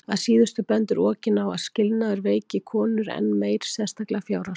Að síðustu bendir Okin á að skilnaður veiki konur enn meir, sérstaklega fjárhagslega.